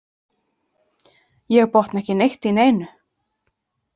Ég botna ekki neitt í neinu.